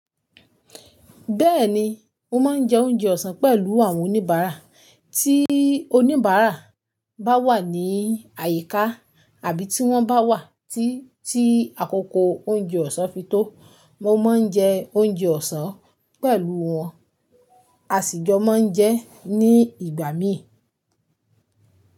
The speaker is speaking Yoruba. Bẹ́ẹ̀ni, mo máa ń jẹ oúnjẹ ọ̀sán pẹ̀lú àwọn oníbàárà. Tí oníbàrà bá wà ní àyíká tàbí tí wọ́n bá wà tí àkókò oúnjẹ ọ̀sán fi tó, mo máa ń jẹ oúnjẹ ọ̀sán pẹ̀lú wọn. A sì jọ máa ń jẹ ní ìgbà mí.